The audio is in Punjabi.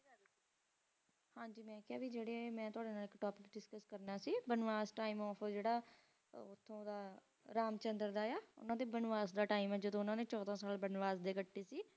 ਮੇਂ ਕਹਾ ਜ਼ੀਰੇ ਮੇਂ ਤੁਵੱਡੇ ਨਾਲ ਇਕ ਟੋਪਿਕ ਦਿਸ੍ਛੁੱਸ ਕਰਨਾ ਸੀ ਬਨਵਾਸ ਟੀਮ ਉਹ ਜਾਇ ਦਾ ਰਾਮ ਚੰਦਰ ਦਾ ਬਨਵਾਸ ਦਾ ਟੀਮ ਹੈ ਜੱਦੋਂ ਉਨ੍ਹਾਂ ਨੇ ਚੌੜਾ ਸਾਲ ਬਨਵਾਸ ਗੱਤੀ ਸੀ